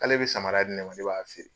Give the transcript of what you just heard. K'ale be samara di ne ma, ne b'a feere.